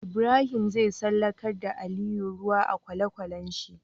Ibrahim zai tsallakar da ali ruwan a kwale kwalen shi